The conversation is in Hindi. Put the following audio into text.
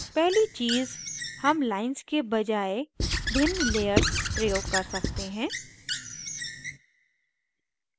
पहली चीज़ हम lines के बजाए भिन्न layer प्रयोग कर सकते हैं